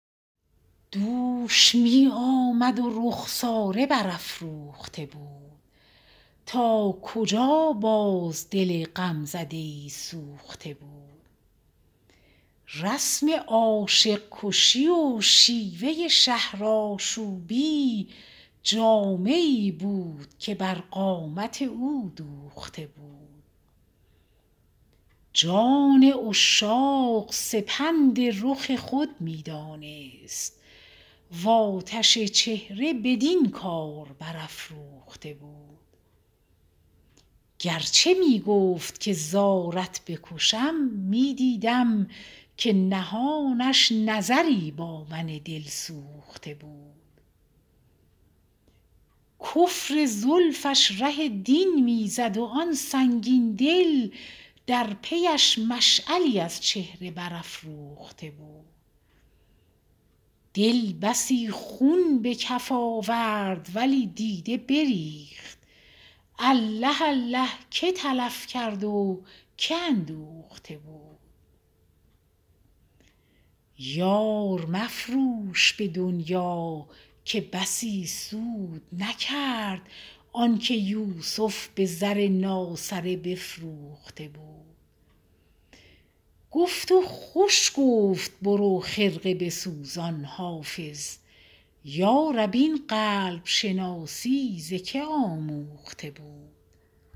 دوش می آمد و رخساره برافروخته بود تا کجا باز دل غمزده ای سوخته بود رسم عاشق کشی و شیوه شهرآشوبی جامه ای بود که بر قامت او دوخته بود جان عشاق سپند رخ خود می دانست و آتش چهره بدین کار برافروخته بود گر چه می گفت که زارت بکشم می دیدم که نهانش نظری با من دلسوخته بود کفر زلفش ره دین می زد و آن سنگین دل در پی اش مشعلی از چهره برافروخته بود دل بسی خون به کف آورد ولی دیده بریخت الله الله که تلف کرد و که اندوخته بود یار مفروش به دنیا که بسی سود نکرد آن که یوسف به زر ناسره بفروخته بود گفت و خوش گفت برو خرقه بسوزان حافظ یا رب این قلب شناسی ز که آموخته بود